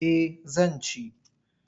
Eh zan ci.